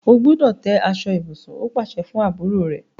O gbúdọ̀ tẹ́ aṣọ ibùsùn! ó pàsẹ fún àbúrò rẹ̀.